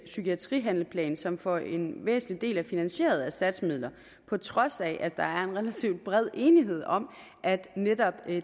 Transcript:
psykiatrihandleplan som for en væsentlig del er finansieret af satsmidler på trods af at der er en relativt bred enighed om at netop